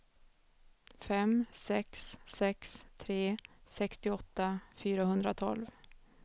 fem sex sex tre sextioåtta fyrahundratolv